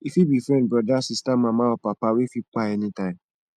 e fit bi friend broda sista mama or papa wey fit kpai anytime